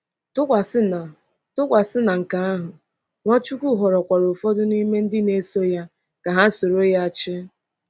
Tụkwasị na Tụkwasị na nke ahụ, Nwachukwu họrọkwa ụfọdụ n’ime ndị na-eso ya ka ha soro ya chị.